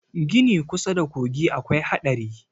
Gini kusa da kogi akwai haɗari